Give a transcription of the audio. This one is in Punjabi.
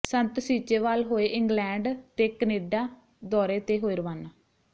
ਸੰਤ ਸੀਚੇਵਾਲ ਹੋਏ ਇੰਗਲੈਂਡ ਤੇ ਕੈਨੇਡਾ ਦੌਰੇ ਤੇ ਹੋਏ ਰਵਾਨਾ